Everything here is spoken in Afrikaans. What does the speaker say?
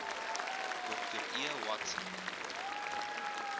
dr e watson